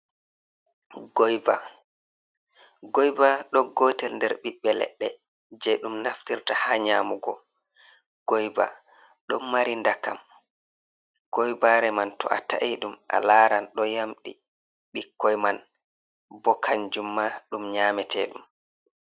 Goiba, Goiba ɗo gotel on nder ɓiɓɓe ledde je ɗum naftirta ha nyamugo Goiba ɗon mari ndakam goibare man to a ta’i ɗum a laran ɗo yamɗi bikkoi man bo kanjumma daum nyamete ɗum.